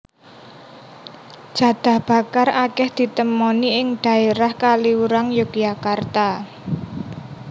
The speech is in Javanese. Jadah bakar akèh ditemoni ing dhaérah Kaliurang Yogyakarta